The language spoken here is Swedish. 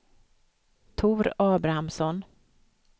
Tor Abrahamsson